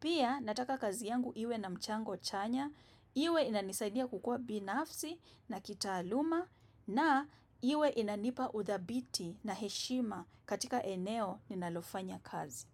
Pia nataka kazi yangu iwe na mchango chanya, iwe inanisaidia kukuwa binafsi na kitaaluma na iwe inanipa uthabiti na heshima katika eneo ninalofanya kazi.